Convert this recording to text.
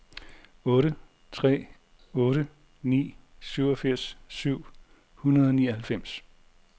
otte tre otte ni syvogfirs syv hundrede og nioghalvfems